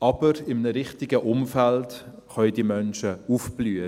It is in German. Aber in einem richtigen Umfeld können diese Menschen aufblühen.